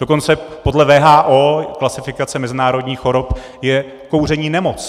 Dokonce podle WHO klasifikace mezinárodních chorob je kouření nemoc.